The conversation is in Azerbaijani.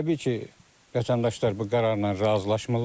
Təbii ki, vətəndaşlar bu qərarla razılaşmırlar.